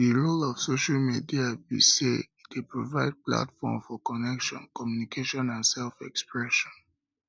di role of social media be say e dey provide platform for connection communication and selfexpression